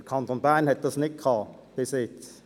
Der Kanton Bern hatte dies bisher nicht.